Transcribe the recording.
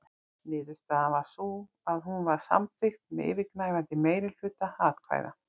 Niðurstaðan varð sú að hún var samþykkt með yfirgnæfandi meirihluta atkvæða.